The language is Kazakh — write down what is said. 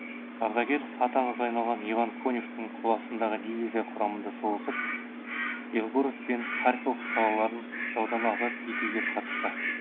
ардагер аты аңызға айналған иван коневтың қоластындағы дивизия құрамында соғысып белгород пен харьков қалаларын жаудан азат етуге қатысты